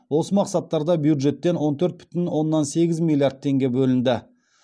осы мақсаттарда бюджеттен он төрт бүтін оннан сегіз миллиард теңге бөлінді